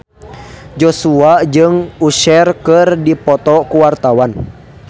Joshua jeung Usher keur dipoto ku wartawan